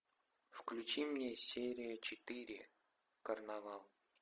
включи мне серия четыре карнавал